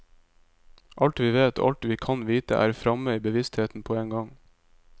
Alt vi vet, og alt vi kan vite, er framme i bevisstheten på en gang.